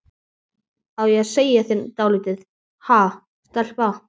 Á ég að segja þér dálítið, ha, stelpa?